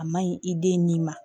A maɲi i den ni ma